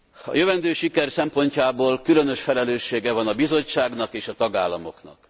A jövendő siker szempontjából különös felelőssége van a Bizottságnak és a tagállamoknak.